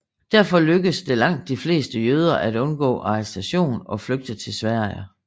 Derfor lykkedes det langt de fleste jøder at undgå arrestation og flygte til Sverige